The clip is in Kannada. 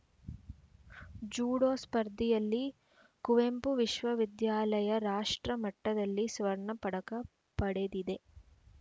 ಜೂಡೋ ಸ್ಪರ್ಧೆಯಲ್ಲಿ ಕುವೆಂಪು ವಿಶ್ವವಿದ್ಯಾನಿಲಯ ರಾಷ್ಟ್ರ ಮಟ್ಟದಲ್ಲಿ ಸ್ವರ್ಣ ಪದಕ ಪಡೆದಿದೆ